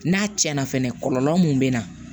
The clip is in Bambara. N'a tiɲɛna fɛnɛ kɔlɔlɔ mun bɛ na